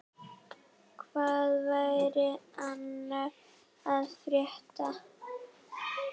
Hvað væri annars að frétta?